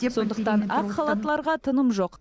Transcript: сондықтан ақ халаттыларға тыным жоқ